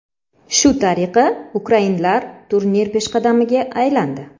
Shu tariqa ukrainlar turnir peshqadamiga aylandi.